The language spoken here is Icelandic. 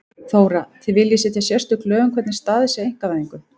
Þóra: Þið viljið setja sérstök lög um hvernig staðið sé að einkavæðingu?